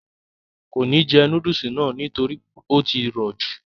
kò ní jẹ núdùsì náà nítorí ó tí rọ̀ jù